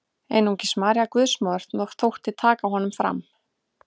Einungis María Guðsmóðir þótti taka honum fram.